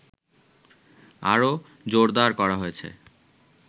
আরো জোরদার করা হয়েছে